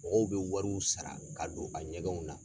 Mɔgɔw bɛ wariw sara ka don a ɲɛgɛnw na.